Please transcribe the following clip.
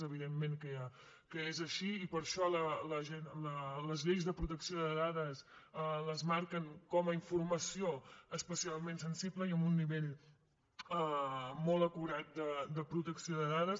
evidentment que és així i per això les lleis de protecció de dades les marquen com a informació especialment sensible i amb un nivell molt acurat de protecció de dades